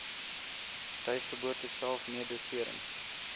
tuisgeboorte self medisering